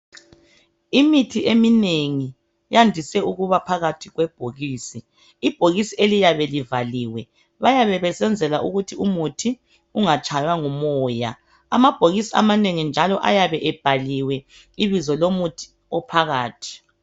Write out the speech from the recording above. Imithi eminengi yandiswe ukuba phakathi kwebhokisi .Ibhokisi eliyabe livaliwe Bayabe besenzela ukuthi umuthi ungatshaywa ngumoya Amabhokisi amanengi njalo ayabe ebhaliwe ibizo lomuthi ophakathi